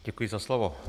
Děkuji za slovo.